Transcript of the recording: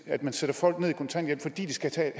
at man sætter folk ned i kontanthjælp fordi de skal tage